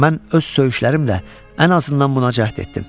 Mən öz söyüşlərimlə ən azından buna cəhd etdim.